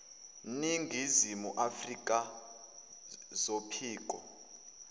ningizimu afrka zophiko